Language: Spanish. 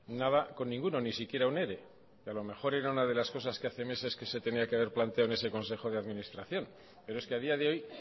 nada con ninguno ni siquiera un ere y a lo mejor era una de las cosas que hace meses que se tenía que haber planteado en ese consejo de administración pero es que a día de hoy